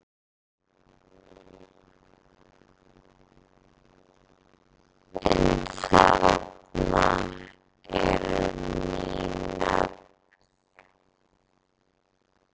En þarna eru ný nöfn.